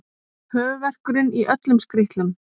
Höfuðverkurinn í öllum skrítlum.